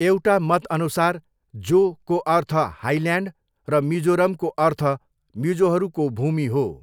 एउटा मतअनुसार 'जो' को अर्थ 'हाइल्यान्ड' र मिजोरमको अर्थ 'मिजोहरूको भूमि' हो।